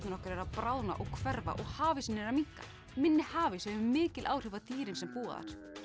okkar eru að bráðna og hverfa og hafísinn er að minnka minni hafís hefur mikil áhrif á dýrin sem búa þar